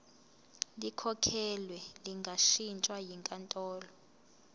likhokhelwe lingashintshwa yinkantolo